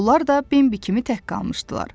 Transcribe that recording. Onlar da Bimbi kimi tək qalmışdılar.